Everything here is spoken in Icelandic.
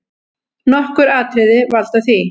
Nokkur atriði valda því.